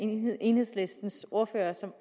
enhedslistens ordførere som